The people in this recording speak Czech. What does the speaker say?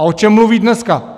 A o čem mluví dneska?